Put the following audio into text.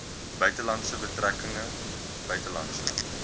buitelandse betrekkinge buitelandse